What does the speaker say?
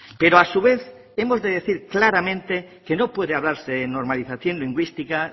pero a su vez hemos de decir claramente que no puede hablarse de normalización lingüística